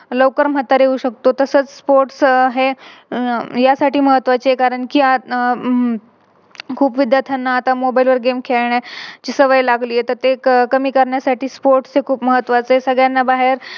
लवकर म्हातारे होऊ शकतो. तसंच Sports हे यासाठी महत्वाचे आहे कारण कि हम्म खूप विद्यार्थ्यांना आता Mobile वर Game खेळण्याची सवय लागली आहे. तर ते कमी करण्यासाठी Sports हे खूप महत्वाचे आहे. सगळ्यांना बाहेर